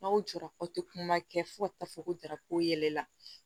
N'aw jɔra k'aw tɛ kuma kɛ fo ka taa fɔ ko jarako yɛlɛla